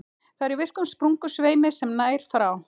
Það er í virkum sprungusveimi sem nær frá